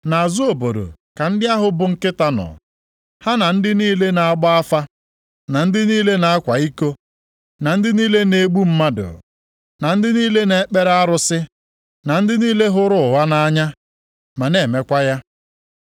Nʼazụ obodo ka ndị ahụ bụ nkịta nọ, ha na ndị niile na-agba afa, na ndị niile na-akwa iko, na ndị niile na-egbu mmadụ, na ndị niile na-ekpere arụsị, na ndị niile hụrụ ụgha nʼanya ma na-emekwa ya.